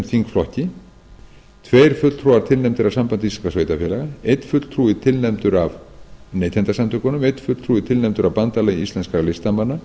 þingflokki tveir fulltrúar tilnefndir af sambandi íslenskra sveitarfélaga einn fulltrúi tilnefndur af neytendasamtökunum einn fulltrúi tilnefndur af bandalagi íslenskra listamanna